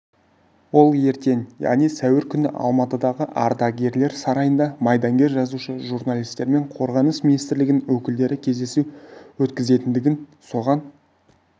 ол ертең яғни сәуір күні алматыдағы ардагерлер сарайында майдангер жазушы журналистермен қорғаныс министрлігінің өкілдері кездесу өткізетіндігін соған